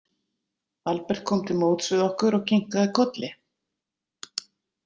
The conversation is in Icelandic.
Albert kom til móts við okkur og kinkaði kolli.